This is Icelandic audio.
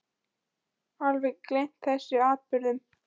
Ég hafði eiginlega alveg gleymt þessum atburðum.